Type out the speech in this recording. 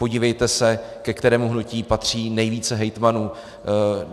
Podívejte se, ke kterému hnutí patří nejvíce hejtmanů.